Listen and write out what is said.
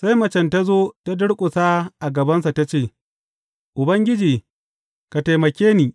Sai macen ta zo ta durƙusa a gabansa ta ce, Ubangiji, ka taimake ni!